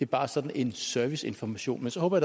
bare sådan en serviceinformation men så håber